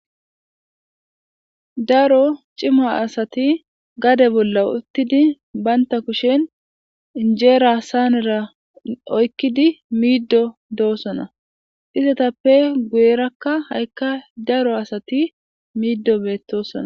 Daro ciima asati gade bolla uttidi baynta kushen injeera saanera oykkidi miiddo doossona izatappe guyerakka ha'ikka daro asati miiddo beettosona